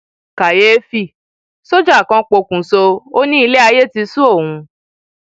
kàyééfì sójà kan pokùṣọ ó ní ilẹ ayé ti sú òun